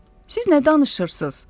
"Siz nə danışırsız?